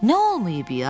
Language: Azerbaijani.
Nə olmayıb i-ya?